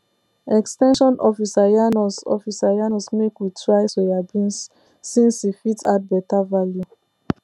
ex ten sion officer yarn us officer yarn us make we try soya beans since e fit add better value